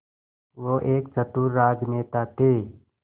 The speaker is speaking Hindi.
वो एक चतुर राजनेता थे